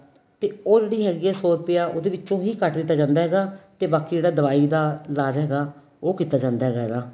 ਤੇ ਉਹ ਜਿਹੜੀ ਹੈਗੀ ਏ ਸੋ ਰੁਪਇਆ ਉਹਦੇ ਵਿਚੋ ਹੀ ਕੱਡ ਦਿੱਤਾ ਜਾਂਦਾ ਹੈਗਾ ਤੇ ਬਾਕੀ ਜਿਹੜਾ ਦਵਾਈ ਦਾ ਇਲਾਜ ਹੈਗਾ ਉਹ ਕੀਤਾ ਜਾਂਦਾ ਹੈਗਾ ਇਦਾ